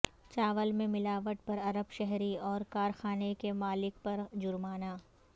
چاول میں ملاوٹ پر عرب شہری اور کارخانے کے مالک پر جرمانہ